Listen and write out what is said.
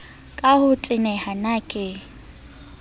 ka ho teneha na ke